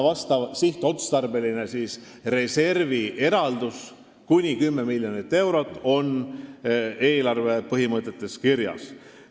Vastav sihtotstarbeline reservieraldus kuni 10 miljonit eurot on eelarve põhimõtetes kirjas.